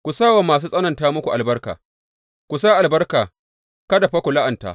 Ku sa wa masu tsananta muku albarka; ku sa albarka kada fa ku la’anta.